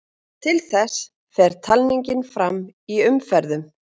Til þess fer talningin fram í umferðum.